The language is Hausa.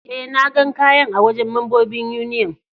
Eh, na gan kayan a wajen membobin Union.